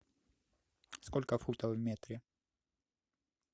сколько футов в метре